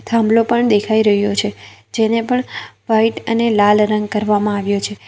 થાંભલો પણ દેખાય રહ્યો છે જેને પણ વ્હાઇટ અને લાલ રંગ કરવામાં આવ્યો છે.